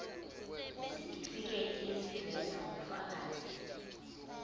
isitifiketi eziveza ubufakazi